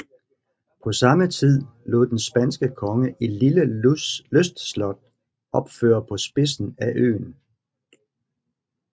På samme tid lod den spanske konge et lille lystslot opføre på spidsen af øen